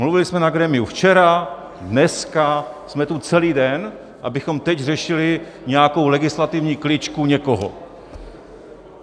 Mluvili jsme na grémiu včera, dneska jsme tu celý den, abychom teď řešili nějakou legislativní kličku někoho.